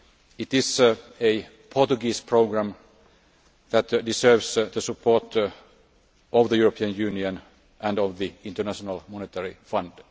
It is a Portuguese programme that deserves the support of the European Union and of the International Monetary Fund.